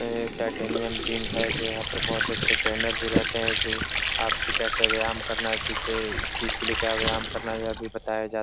ऐ titanium gym है जो यहाँ पर बोहोत अच्छा ट्रेनर भी रहते हैं जो आपको कैसे व्यायाम करना है किसे चीज के लिये क्या व्यायाम करना है। यह भी बताया जात --